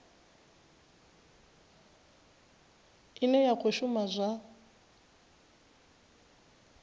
ine ya khou shuma zwa